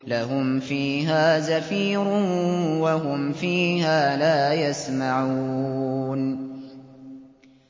لَهُمْ فِيهَا زَفِيرٌ وَهُمْ فِيهَا لَا يَسْمَعُونَ